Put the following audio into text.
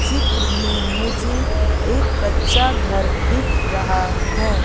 चित्र में मुझे एक कच्चा घर दिख रहा है।